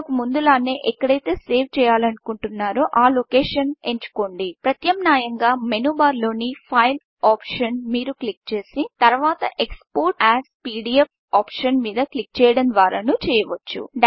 ఇంతకు ముందులానే ఎక్కడైతే సేవ్ చేయాలనుకుంటున్నారో ఆ లొకేషన్ ఎంచుకోండి ప్రత్యామ్నాయంగా మెనూబార్లోని Fileఫైల్ ఆప్షన్ను మీరు క్లిక్ చేసి తరువాత export as PDF option మీద క్లిక్ చేయడం ద్వారానూ చేయవచ్చు